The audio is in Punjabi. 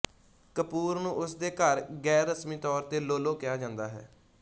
ਕਪੂਰ ਨੂੰ ਉਸ ਦੇ ਘਰ ਗੈਰਰਸਮੀ ਤੌਰ ਤੇ ਲੋਲੋ ਕਿਹਾ ਜਾਂਦਾ ਹੈ